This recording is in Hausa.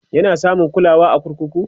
yana samun kulawa a kurkuku?